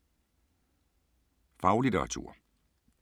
Faglitteratur